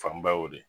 Fanba y'o de